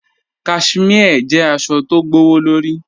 Cashmere jẹ̀ àṣọ̀ tó gbọwọ̀lọ̀rí.